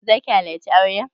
Za ki halarci auren?